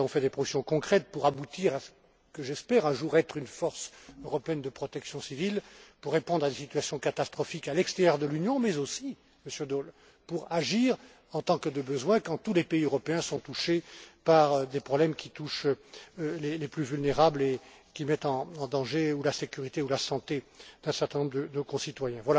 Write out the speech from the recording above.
Nous avons fait des propositions concrètes pour aboutir à ce que j'espère un jour être une force européenne de protection civile pour répondre à des situations catastrophiques à l'extérieur de l'Union, mais aussi, Monsieur Daul, pour agir, en tant que de besoin, quand tous les pays européens sont concernés par des problèmes qui touchent les plus vulnérables et qui mettent en danger la sécurité ou la santé d'un certain nombre de concitoyens.